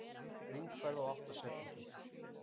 Hringferð á átta sekúndum